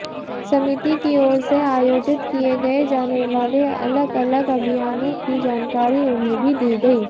समिति की ओर से आयोजित किये जानेवाले अलग अलग अभियानों की जानकारी उन्हें दी गई